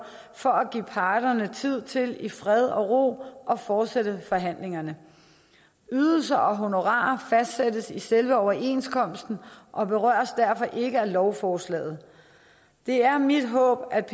for at give parterne tid til i fred og ro at fortsætte forhandlingerne ydelser og honorarer fastsættes i selve overenskomsten og berøres derfor ikke af lovforslaget det er mit håb at